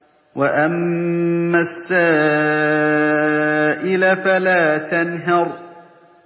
وَأَمَّا السَّائِلَ فَلَا تَنْهَرْ